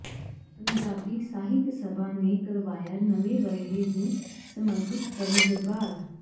ਪੰਜਾਬੀ ਸਾਹਿਤ ਸਭਾ ਨੇ ਕਰਵਾਇਆ ਨਵੇਂ ਵਰ੍ਹੇ ਨੂੰ ਸਮਰਪਿਤ ਕਵੀ ਦਰਬਾਰ